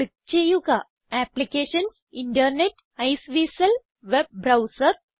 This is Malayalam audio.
ക്ലിക്ക് ചെയ്യുക applications internet Iceweasel web browser